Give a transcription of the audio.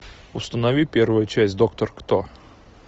установи первая часть доктор кто